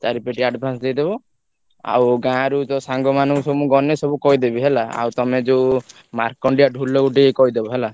ଚାରିପେଟି advance ଦେଇଦବ ଆଉ ଗାଁରୁ ସାଙ୍ଗ ମାନେ ସବୁ ମୁଁ ଗନେ ସବୁ କହିଦେବି ହେଲା ଆଉ ତମେ ଯୋଉ ମାର୍କଣ୍ଡିଆ ଢୋଲ କୁ କହିଦବ ହେଲା।